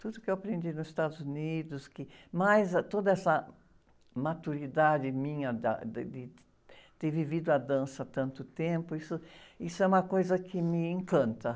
Tudo o que eu aprendi nos Estados Unidos, que, mais, ah, toda essa maturidade minha da, de, de, de ter vivido a dança há tanto tempo, isso, isso é uma coisa que me encanta.